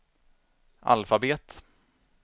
alfabet